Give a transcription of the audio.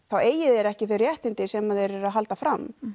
þá eigi þeir ekki þau réttindi sem þeir eru að halda fram